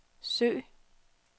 søg